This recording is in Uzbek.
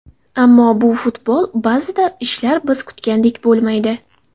Ammo bu futbol, ba’zida ishlar biz kutgandek bo‘lmaydi.